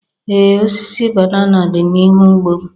Ee, osisi banana dị n'ihu ugbo m.